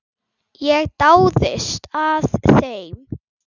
Ég dáðist að þeim.